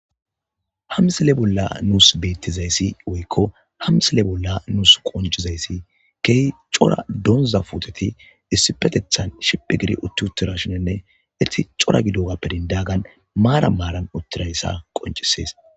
Hamsile bolla nuus beettizayssi woykko hamsile bolla nuus qoncizayssi key cora donza puteti issipetethan shiphi gidi utti uttira shinenne itti cora gidogappedindagan maara maaran uttirayssa qoncisees